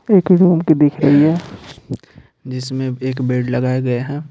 एक रूम की दिख रही है जिसमें एक बेड लगाया गया है।